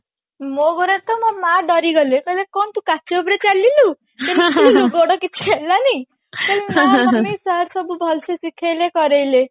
ମୋ ଘରେ ତ ମୋ ମା ଡରିଗଲେ କହିଲେ କଣ ତୁ କାଚ ଉପରେ ଚାଲିଲୁ ଗୋଡ କିଛି ହେଲାନି ମୁଁ କହିଲି ନା mummy sir ସବୁ ଭଲସେ ଶିଖେଇଲେ କରେଇଲେ